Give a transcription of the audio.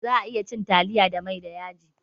Za'a iya cin taliya da mai da yaji